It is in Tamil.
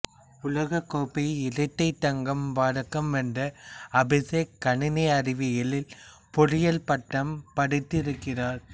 உலகக் கோப்பையில் இரட்டை தங்கப் பதக்கம் வென்ற அபிசேக்கு கணினி அறிவியலில் பொறியியல் பட்டம் படித்திருக்கிறார்